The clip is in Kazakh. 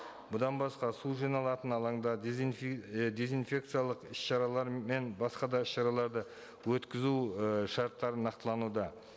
бұдан басқа су жиналатын алаңда і дезинфекциялық іс шаралары мен басқа да шараларды өткізу і шарттары нақтылануда